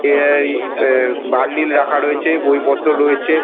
এ আই এ বান্ডিল রাখা রয়েছে বই পত্র রয়েছে ।